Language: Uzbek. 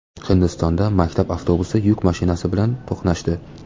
Hindistonda maktab avtobusi yuk mashinasi bilan to‘qnashdi.